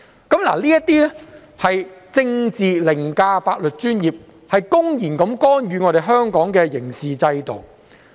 這些情況便是政治凌駕了法律專業，公然干預香港的刑事制度。